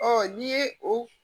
n'i ye o